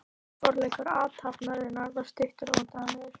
Forleikur athafnarinnar var stuttur og vandræðalegur.